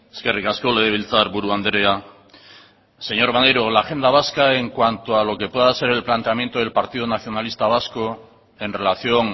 eskerrik asko legebiltzarburu andrea señor maneiro la agenda vasca en cuanto a lo que pueda ser el planteamiento del partido nacionalista vasco en relación